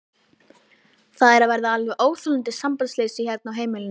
Það er að verða alveg óþolandi sambandsleysi hérna á heimilinu!